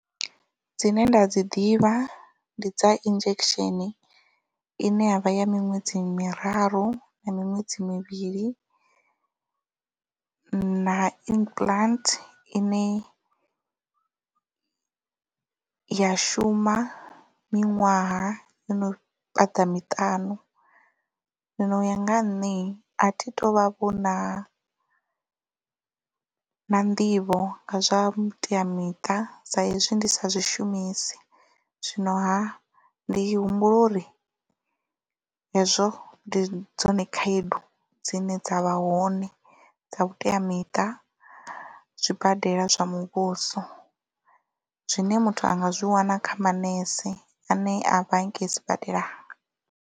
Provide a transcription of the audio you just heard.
Dzine nda dzi ḓivha ndi dza injection ine ya vha ya miṅwedzi miraru na miṅwedzi mivhili na implant ine ya shuma miṅwaha i no fhaṱa miṱanu zwino u ya nga ha nṋe a thi tu vha vhona na nḓivho nga zwa vhuteamiṱa sa hezwi ndi sa zwishumisi zwino ha ndi humbula uri hezwo ndi dzone khaedu dzine dza vha hone dza vhuteamiṱa zwibadela zwa muvhuso zwine muthu anga zwi wana kha manese ane a vha hanengei sibadela.